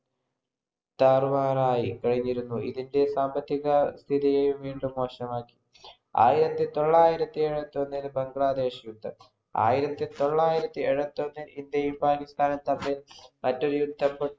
താറുമാറായികഴിഞ്ഞിരുന്നു. ഇതിന്‍റെ സാമ്പത്തികസ്ഥിതി വീണ്ടും മോശമായി. ആയിരത്തി തൊള്ളായിരത്തി എഴുപത്തി ഒന്നില്‍ ബംഗ്ലാദേശ് യുദ്ധം. ആയിരത്തിതൊള്ളായിരത്തി എഴുപത്തിഒന്നില്‍ ഇന്ത്യയും പാകിസ്ഥാനും തമ്മിൽ മറ്റൊരു യുദ്ധം പൊ